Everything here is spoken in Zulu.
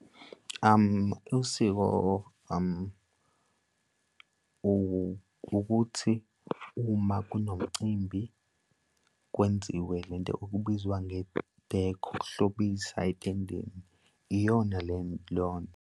Usiko ukuthi uma kunomcimbi kwenziwe lento okubizwa nge-decor, ukuhlobisa etendeni, iyona loyo nto.